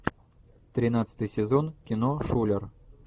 тринадцатый сезон кино шулер